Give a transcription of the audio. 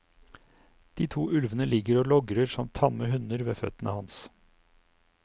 De to ulvene ligger og logrer som tamme hunder ved føttene hans.